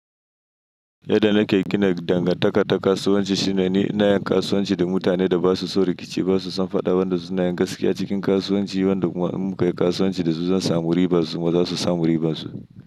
Yanda nake gina dangantaka ta kasuwanci shine ni inayin kasuwanci da mutane da basuson rikici basuson faɗa wanda sunayin gaskiya cikin kasuwanci wanda kuma in mukayi kasuwanci zan samu riba suma zasu samu ribansu.